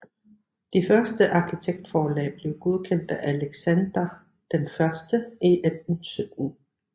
Det første arkitektforslag blev godkendt af Alexander I i 1817